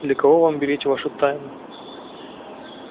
для кого вам беречь вашу тайну